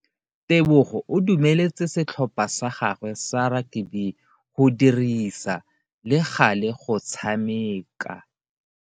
Tebogo o dumeletse setlhopha sa gagwe sa rakabi go dirisa le gale go tshameka.